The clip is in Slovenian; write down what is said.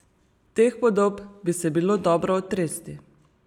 Teh podob bi se bilo dobro otresti.